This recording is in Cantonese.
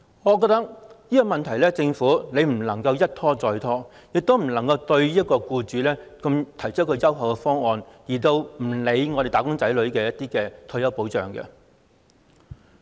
我認為這個問題政府不能一拖再拖，也不能夠對僱主提出如此優厚的方案，卻不理會"打工仔女"的退休保障。